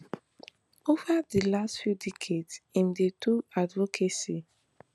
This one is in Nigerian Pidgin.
ova di last few decades im dey do advocacy